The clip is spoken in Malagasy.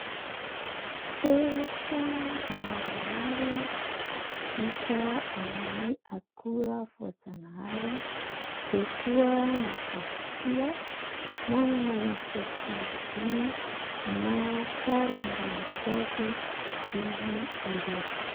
Peratra maromaro vita amin'ny akora voajanahary. Eo koa ny vato soa manana endrika boribory na sarim-boninkazo izy ireo.